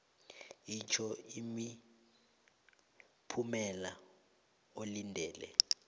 itjho imiphumela olindele